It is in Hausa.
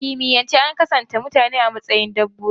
A kimiyyance an kasafta mutane a matsayin dabbobi.